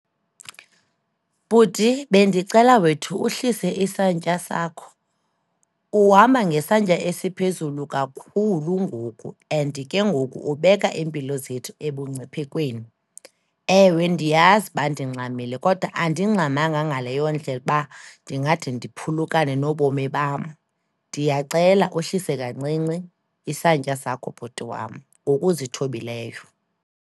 Bhuti, bendicela wethu uhlise isantya sakho. Uhamba ngesantya esiphezulu kakhulu ngoku and ke ngoku ubeka iimpilo zethu ebungciphekweni. Ewe, ndiyazi uba ndingxamile, kodwa andingxamanga ngaleyo ndlela uba ndingade ndiphulukane nobomi bam. Ndiyacela uhlise kancinci isantya sakho bhuti wam, ngokuzithobileyo.